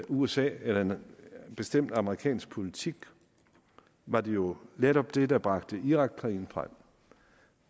usa eller en bestemt amerikansk politik var det jo netop det der bragte irakkrigen frem